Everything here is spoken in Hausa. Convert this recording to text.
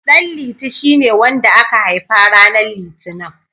Ɗanliti shine wanda aka haifa ranar Litinin.